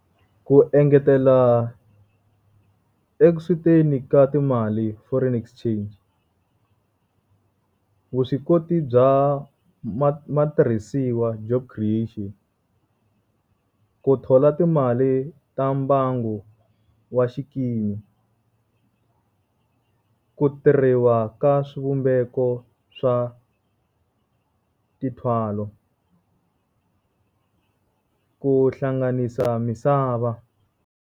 Ku engetela ka timali foreign exchange. Vuswikoti bya matirhisiwa, job creation. Ku thola timali ta mbangu wa xikimi. Ku tirhiwa ka swivumbeko swa tithwalo, ku hlanganisa misava.